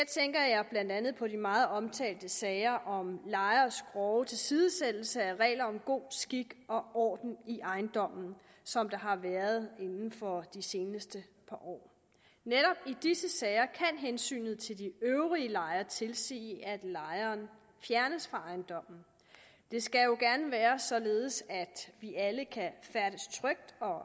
blandt andet på de meget omtalte sager om lejeres grove tilsidesættelse af regler om god skik og orden i ejendommen som der har været inden for de seneste par år netop i disse sager kan hensynet til de øvrige lejere tilsige at lejeren fjernes fra ejendommen det skal jo gerne være således at vi alle kan færdes trygt og